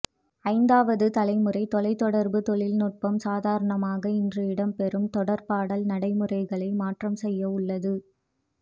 ஐந்தாவது தலைமுறை தொலைதொடர்பு தொழில் நுட்பம் சாதாரணமாக இன்று இடம்பெறும் தொடர்பாடல் நடைமுறைகளை மாற்றம் செய்ய உள்ளது